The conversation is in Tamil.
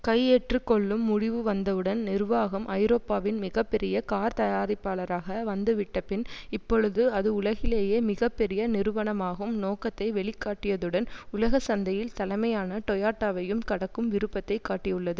கையேற்றுக்கொள்ளும் முடிவு வந்தவுடன் நிர்வாகம் ஐரோப்பாவின் மிக பெரிய கார்த்தயாரிப்பாளராக வந்துவிட்டபின் இப்பொழுது அது உலகிலேயே மிக பெரிய நிறுவனமாகும் நோக்கத்தை வெளிக்காட்டியதுடன் உலக சந்தையில் தலைமையான டோயோடாவையும் கடக்கும் விருப்பத்தைக் காட்டியுள்ளது